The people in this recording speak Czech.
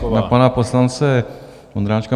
Nejdřív na pana poslance Vondráčka.